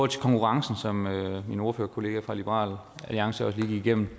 til konkurrencen som min ordførerkollega fra liberal alliance også lige gennemgik